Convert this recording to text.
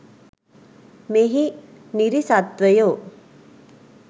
මෙහි නිරිසත්වයෝ